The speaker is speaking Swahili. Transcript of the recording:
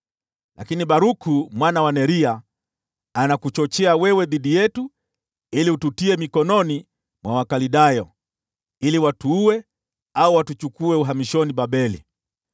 Lakini Baruku mwana wa Neria anakuchochea dhidi yetu ili ututie mikononi mwa Wakaldayo, ili watuue au watuchukue uhamishoni Babeli.”